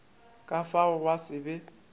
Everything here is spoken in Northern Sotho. ka fao gwa se be